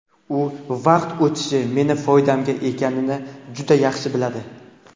U vaqt o‘tishi meni foydamga ekanini juda yaxshi biladi.